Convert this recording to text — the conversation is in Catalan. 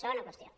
segona qüestió